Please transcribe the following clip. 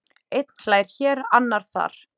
Einn hlær hér, annar þar.